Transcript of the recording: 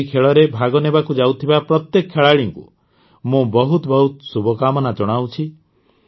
ଏହି ଖେଳରେ ଭାଗ ନେବାକୁ ଯାଉଥିବା ପ୍ରତ୍ୟେକ ଖେଳାଳିକୁ ବହୁତ ବହୁତ ଶୁଭକାମନା ଜଣାଉଛି